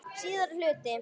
Síðari hluti